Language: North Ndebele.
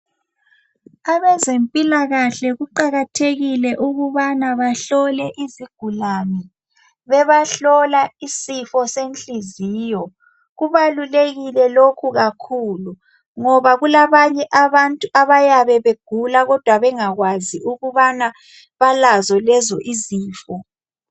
Abezempilakahle kuqakathekile ukubana bahlole izigulane bebahlola isifo senhliziyo kubalulekile lokhu kakhulu ngoba kulabanye abantu abayabe begula kodwa bengakwazi ukubana balazo lezo izifo.